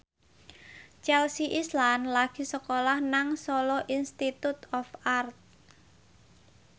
Chelsea Islan lagi sekolah nang Solo Institute of Art